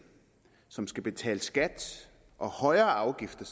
som skal betale skat og højere afgifter